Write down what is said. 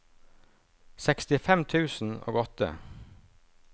sekstifem tusen og åtte